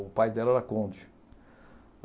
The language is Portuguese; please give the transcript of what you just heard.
O pai dela era conde.